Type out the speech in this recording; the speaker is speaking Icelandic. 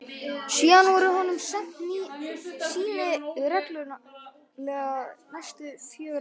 Síðan voru honum send sýni reglulega næstu fjögur ár.